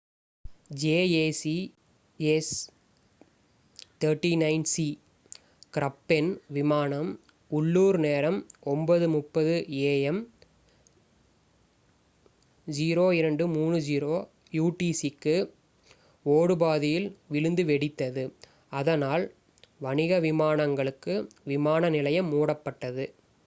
jas 39c க்ரப்பென் விமானம் உள்ளூர் நேரம் 9:30 am 0230 utc க்கு ஓடுபாதையில் விழுந்து வெடித்தது அதனால் வணிக விமானங்களுக்கு விமான நிலையம் மூடப்பட்டது